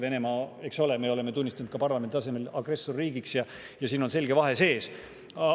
Venemaa me oleme tunnistanud ka parlamendi tasemel agressorriigiks, siin on selge vahe sees.